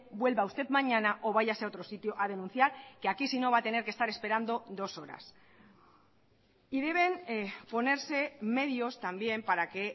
vuelva usted mañana o váyase a otro sitio a denunciar que aquí si no va a tener que estar esperando dos horas y deben ponerse medios también para que